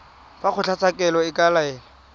fa kgotlatshekelo e ka laela